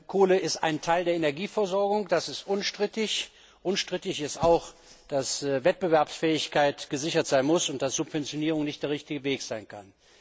Kohle ist ein Teil der Energieversorgung, das ist unstrittig. Unstrittig ist auch, dass Wettbewerbsfähigkeit gesichert sein muss und dass Subventionierung nicht der richtige Weg sein kann.